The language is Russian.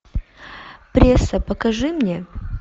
пресса покажи мне